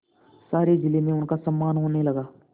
सारे जिले में उनका सम्मान होने लगा